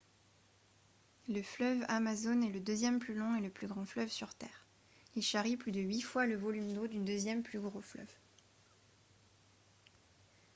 le fleuve amazone est le deuxième plus long et le plus grand fleuve sur terre il charrie plus de huit fois le volume d'eau du deuxième plus gros fleuve